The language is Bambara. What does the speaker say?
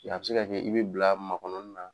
Yan a bɛ se ka kɛ i bɛ bila makɔnɔni na.